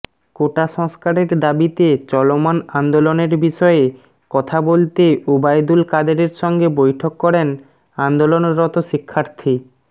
কোটা সংস্কারের দাবিতে চলমান আন্দোলনের বিষয়ে কথা বলতে ওবায়দুল কাদেরের সঙ্গে বৈঠক করেন আন্দোলনরত শিক্ষার্থী